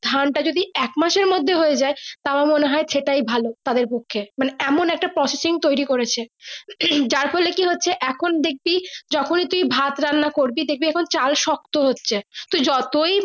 ধান টা যদি এক মাসের মর্ধে হয়ে যাই তাও মনে হয় সেটাই ভালো তাদের পক্ষে মানে একটা processing তৌরি করেছে হম যার ফলে কি হচ্ছে এখন দেখছি যখন তুমি ভ্যাট রান্না করবি দেখবি চাল শক্ত হচ্ছে তুই যতই।